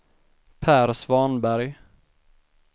Per Svanberg